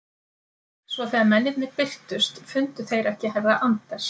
Svo þegar mennirnir birtust fundu þeir ekki herra Anders